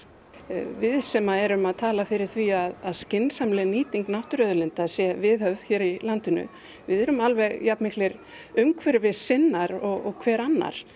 við sem erum að tala fyrir því að skynsamleg nýting náttúruauðlinda sé viðhöfð hér í landinu erum alveg jafn miklir umhverfissinnar og hver annar